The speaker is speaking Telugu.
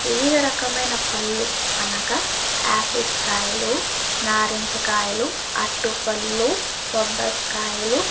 వివిధ రకమైన పళ్ళు అనగా ఆపిల్స్ కాయలు నారింజ కాయలు అరటిపడ్లు బబ్బస్ కాయల్లు--